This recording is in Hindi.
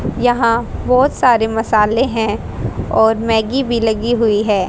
यहां बहोत सारे मसाले हैं और मैगी भी लगी हुई है।